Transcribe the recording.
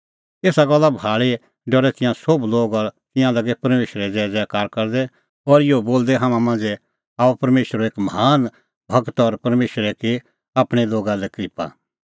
एसा गल्ला भाल़ी डरै तिंयां सोभ लोग और तिंयां लागै परमेशरे ज़ैज़ैकारा करदै और इहअ बोलदै हाम्हां मांझ़ै आअ परमेशरो एक महान गूर और परमेशरै की आपणैं लोगा लै क्रिप्पा